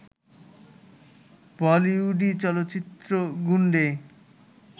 বলিউডি চলচ্চিত্র গুন্ডে